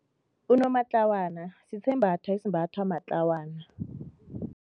Unomatlawana sisembatho esimbathwa matlawana.